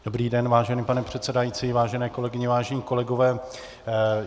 Dobrý den, vážený pane předsedající, vážené kolegyně, vážení kolegové.